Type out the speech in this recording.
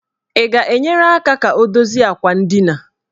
Ị ga-enyere aka ka o dozie akwa ndina?